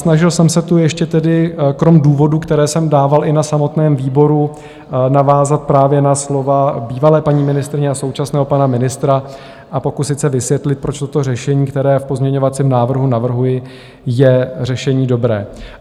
Snažil jsem se tu ještě tedy kromě důvodů, které jsem dával i na samotném výboru, navázat právě na slova bývalé paní ministryně a současného pana ministra a pokusit se vysvětlit, proč toto řešení, které v pozměňovacím návrhu navrhuji, je řešení dobré.